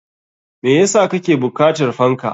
Me yasa kake bukatar fanka?